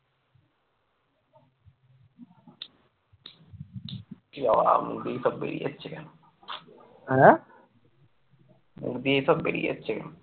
মুখ দিয়ে এসব বেরিয়ে যাচ্ছে কেন